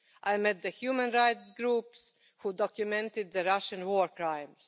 I met the human rights groups who documented the Russian war crimes.